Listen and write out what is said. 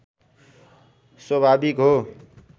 स्वभाविक हो